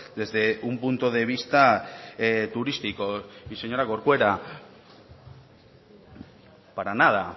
desde un punto de vista turístico y señora corcuera para nada